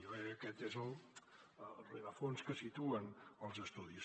jo crec que aquest és el rerefons que situen els estudis